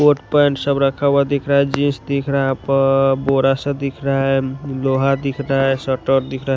Coat pant सब रखा हुआ दिख रहा है जींस दिख रहा है ब-बोरा सा दिख रहा है लोहा दिख रहा है स्वेटर दिख रहा है।